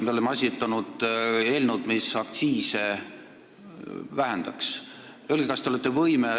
Me oleme esitanud eelnõu, mis vähendaks aktsiisi.